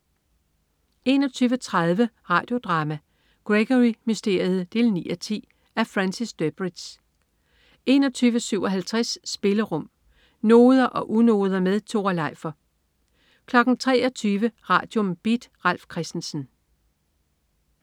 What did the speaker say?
21.30 Radio Drama: Gregory Mysteriet 9:10. Af Francis Durbridge 21.57 Spillerum. Noder og unoder med Tore Leifer 23.00 Radium. Beat. Ralf Christensen